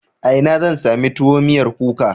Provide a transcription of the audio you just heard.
A ina zan sami tuwo miyar kuka?